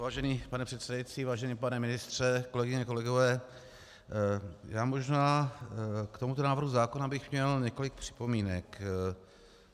Vážený pane předsedající, vážený pane ministře, kolegyně, kolegové, já možná k tomuto návrhu zákona bych měl několik připomínek.